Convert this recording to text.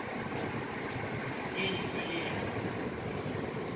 евгений галеев